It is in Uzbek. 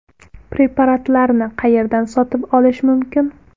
Preparatlarni qayerdan sotib olish mumkin?